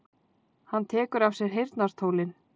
Hann tekur af sér heyrnartólin.